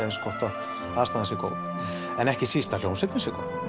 eins gott að aðstaðan sé góð en ekki síst að hljómsveitin